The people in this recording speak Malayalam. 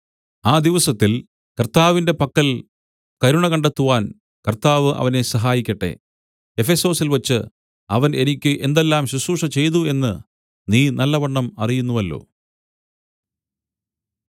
ആ ദിവസത്തിൽ കർത്താവിന്റെ പക്കൽ കരുണ കണ്ടെത്തുവാൻ കർത്താവ് അവനെ സഹായിക്കട്ടെ എഫെസൊസിൽവച്ച് അവൻ എനിക്ക് എന്തെല്ലാം ശുശ്രൂഷചെയ്തു എന്ന് നീ നല്ലവണ്ണം അറിയുന്നുവല്ലോ